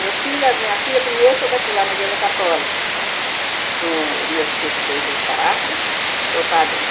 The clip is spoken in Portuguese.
Meu filho, minha filha, primeiro, foi batizada na igreja católica, com o meu tio que fez o parto, foi o padrinho.